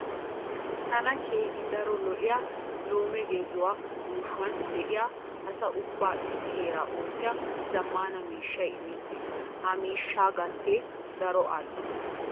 Tana keehi daro lo"iya lume gezuwa yuushuwan de'iya asa ubbaa issi heera oottiya zammaana miishshay imettiis. Ha miishshaa gatee daro al"o.